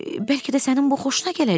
Bəlkə də sənin bu xoşuna gələcək?